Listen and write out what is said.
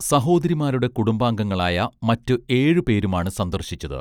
സഹോദരിമാരുടെ കുടുംബാംഗങ്ങളായ മറ്റു ഏഴു പേരുമാണ് സന്ദർശിച്ചത്